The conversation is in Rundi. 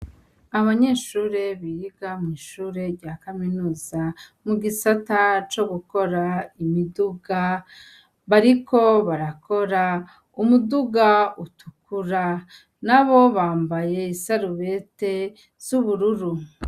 Abanyeshure biga mwishure rya kaminuza mugisata co gukora imiduga bariko barakora umudu utukura nabo bambaye isarubeti z'ubururu.